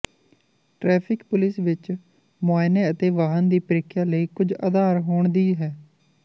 traffic police ਵਿਚ ਮੁਆਇਨੇ ਅਤੇ ਵਾਹਨ ਦੀ ਪ੍ਰੀਖਿਆ ਲਈ ਕੁਝ ਆਧਾਰ ਹੋਣ ਦੀ ਹੈ